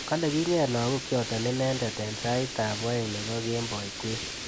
Kale kinget lakok chotok inendet eng sait ab aeng nebo kemboi kwen.